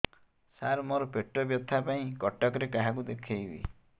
ସାର ମୋ ର ପେଟ ବ୍ୟଥା ପାଇଁ କଟକରେ କାହାକୁ ଦେଖେଇବି